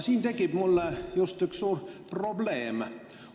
Siin tekib mul aga üks suur probleem.